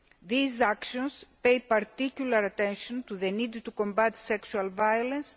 These actions pay particular attention to the need to combat sexual violence